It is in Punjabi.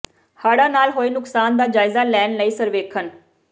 ਹੜ੍ਹਾਂ ਨਾਲ ਹੋਏ ਨੁਕਸਾਨ ਦਾ ਜਾਇਜ਼ਾ ਲੈਣ ਲਈ ਸਰਵੇਖਣ